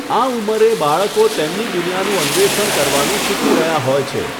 આ ઉંમરે, બાળકો તેમની દુનિયાનું અન્વેષણ કરવાનું શીખી રહ્યા હોય છે.